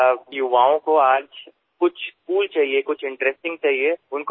sir যুৱসমাজে আজিকালি কুল বিচাৰে আমোদজনক বস্তু বিচাৰে